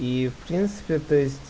и в принципе то есть